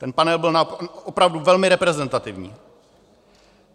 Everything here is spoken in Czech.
Ten panel byl opravdu velmi reprezentativní.